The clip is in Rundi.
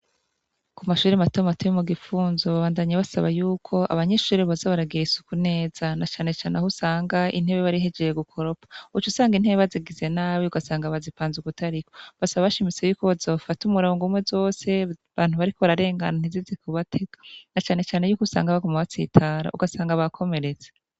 Ku mashuri matomu mateye mu gipfunzo babandanyi basaba yuko abanyishuri boza baragira isuku neza na canecane aho usanga intebe barihejeye gukoropa uca usanga intebe bazigize nabi ugasanga bazipanza ugutariko basaba abashimise yuko bazofata umurango umwe zose bantu bariko bararengana ntizizikubateka na canecane yuko usanga abakoma batsitara ugasanga bakomeretse.